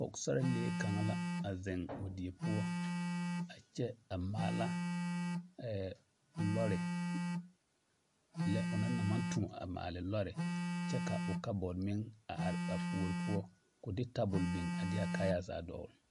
Pɔgesarelee kaŋa la a zeŋ o die poɔ a kyɛ a maala lɔre, lɛ onaŋ na maŋ toɔ maale lɔre kyɛ ka o kabɔɔte meŋ a are a puori poɔ k'o de tabol biŋ a de a kaayaa zaa dɔgele.